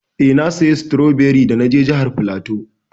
Eh, na saya stroberi da na je jihar flatu.